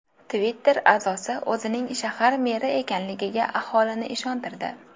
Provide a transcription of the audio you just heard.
Twitter a’zosi o‘zining shahar meri ekanligiga aholini ishontirdi.